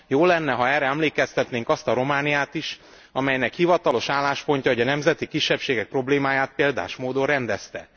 Jó lenne, ha erre emlékeztetnénk azt a Romániát is, amelynek hivatalos álláspontja, hogy a nemzeti kisebbségek problémáját példás módon rendezte.